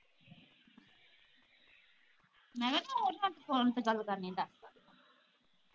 ਮੈ ਕਿਹਾ ਤੂੰ ਓਹਨਾ ਦੇ ਫੋਨ ਤੋਂ ਗੱਲ ਕਰ ਲੈਂਦਾ